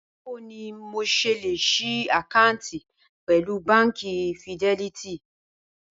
Báwo ni mo s̩e lè s̩í àkáàǹtì pè̩lú Báǹkì Fidé̩lítì?